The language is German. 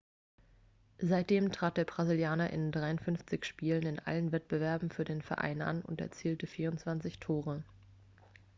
seitdem trat der brasilianer in 53 spielen in allen wettbewerben für den verein an und erzielte 24 tore